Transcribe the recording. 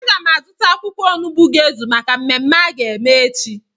Aga m azụta akwụkwọ onugbu ga-ezu maka mmemme a ga-eme echi